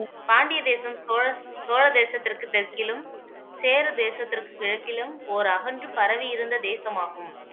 பாண்டிய தேசம் சோழ சோழ தேசத்திற்கு தெற்கிலும் சேர தேசத்திற்கு கிழக்கிலும் ஓர் அகன்று பரவி இருந்த தேசமாகும்